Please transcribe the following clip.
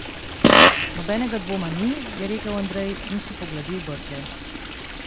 Nobenega dvoma ni, je rekel Andrej in si pogladil brke.